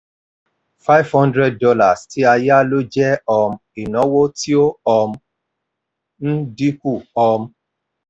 five hundred dollars tí a yá lò jẹ́ um ináwó tí ó um ń dín kù. um